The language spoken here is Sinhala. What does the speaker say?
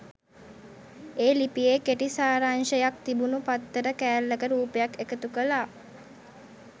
ඒ ලිපියේ කෙටි සාරාංශයක් තිබුණු පත්තර කෑල්ලක රූපයක් එකතු කළා.